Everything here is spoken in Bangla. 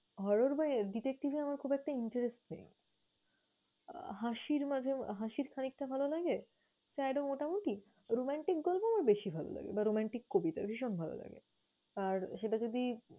horror বা detective এ আমার খুব একটা interest নেই। আহ হাসির মাঝে, হাসির খানিকটা ভালো লাগে, sad ও মোটামোটি, romantic গল্প আমার বেশি ভালো লাগে বা romantic কবিতা ভীষণ ভালো লাগে। আর সেটা যদি